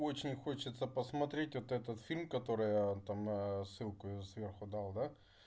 очень хочется посмотреть вот этот фильм который я там аа ссылку её сверху дал да